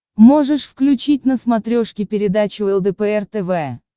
можешь включить на смотрешке передачу лдпр тв